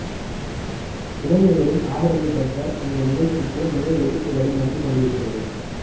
இளைஞர்களின் ஆதரவை பெற்ற இந்த நிகழ்ச்சிக்கு நிறைய எதிர்ப்புகளும் வந்து கொண்டிருக்கிறது